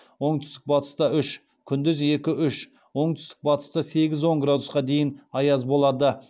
оңтүстік батыста үш күндіз екі үш оңтүстік батыста сегіз он градусқа дейін аяз болады